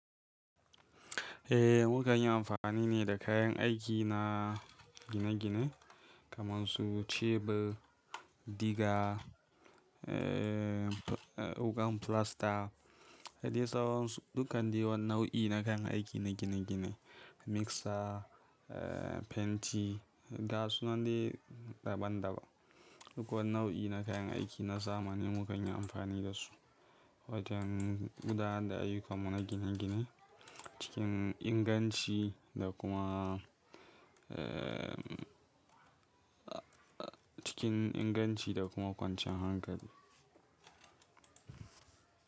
Eh, mu kan yi amfani ne da kayan aiki na gine-gine kaman su chebur, diga, ee, wuƙan filasta, da dai sauran su dukan dai wani nau'i na kayan aiki na gine-gine. Mixer, fenti, ga su nan dai daban daban duk wani nau'i na kayan aiki na zamani mukan yi anfani da su wajen gudanar da ayyukan mu na gine gine cikin inganci da kuma em. Cikin inganci da kuma kwanciyan hankali.